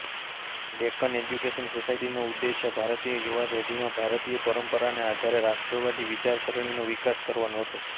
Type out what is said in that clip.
Deccan education સોસાયટીનો ઉદ્દેશ્ય ભારતીય યુવા પેઢીમાં ભારતીય પરંપરાને આધારે રાષ્ટ્રવાદી વિચારસરણીનો વિકાસ કરવાનો હતો